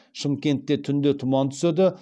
шымкентте түнде тұман түседі